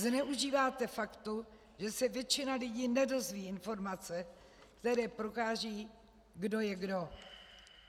Zneužíváte faktu, že se většina lidí nedozví informace, které prokážou, kdo je kdo.